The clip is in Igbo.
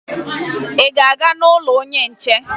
Ị ga-aga n'ụlọ onye nche?